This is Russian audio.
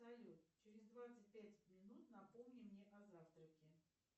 салют через двадцать пять минут напомни мне о завтраке